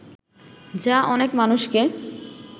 যা অনেক মানুষকে